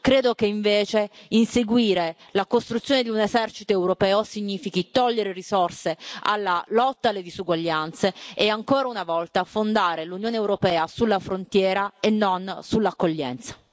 Credo che, invece, inseguire la costruzione di un esercito europeo significhi togliere risorse alla lotta e alle disuguaglianze e, ancora una volta, fondare l'Unione europea sulla frontiera e non sull'accoglienza.